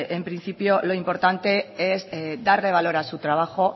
en principio lo importante es darle valor a su trabajo